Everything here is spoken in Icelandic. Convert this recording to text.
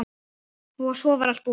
Og svo allt búið.